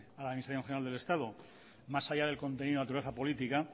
a la administración general del estado más allá del contenido de la naturaleza política